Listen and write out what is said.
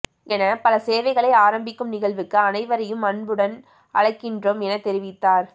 என பல சேவைகளை ஆரம்பிக்கும் நிகழ்வுக்கு அனைவரையும் அன்புடன் அழைக்கின்றோம் என தெரிவித்தார்